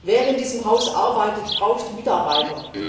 Wer in diesem Haus arbeitet, braucht Mitarbeiter.